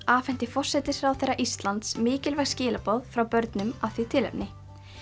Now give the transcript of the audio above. afhenti forsætisráðherra Íslands mikilvæg skilaboð frá börnum af því tilefni